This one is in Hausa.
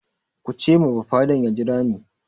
Ku ce ma bafaden ya jira ni!